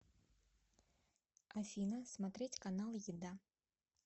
афина смотреть канал еда